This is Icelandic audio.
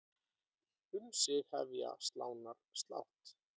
Um sig hefja slánar slátt.